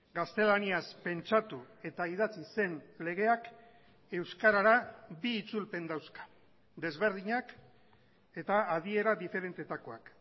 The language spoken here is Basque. gaztelaniaz pentsatu eta idatzi zen legeak euskarara bi itzulpen dauzka desberdinak eta adiera diferentetakoak